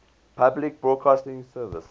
public broadcasting service